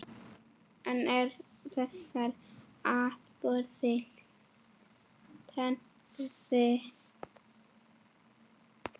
En eru þessir atburðir tengdir?